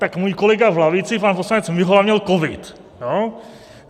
Tak můj kolega v lavici, pan poslanec Mihola, měl covid.